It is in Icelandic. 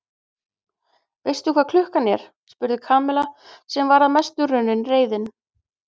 Veistu hvað klukkan er? spurði Kamilla sem var að mestu runnin reiðin.